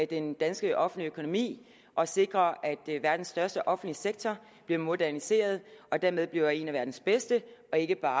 den danske offentlige økonomi og sikrer at verdens største offentlige sektor bliver moderniseret og dermed bliver en af verdens bedste og ikke bare